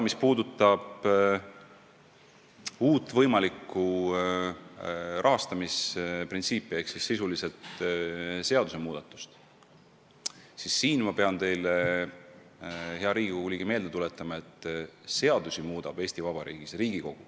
Mis puudutab uut võimalikku rahastamisprintsiipi ehk siis sisuliselt seaduse muudatust, siis siin ma pean teile, hea Riigikogu liige, meelde tuletama, et seadusi muudab Eesti Vabariigis Riigikogu.